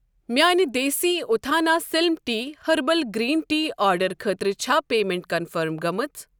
میانہِ دیسی اُتھانہ slim tea herbal green tea آرڈرٕ خٲطرٕ چھا پیمیٚنٹ کنفٔرم گٔمٕژ؟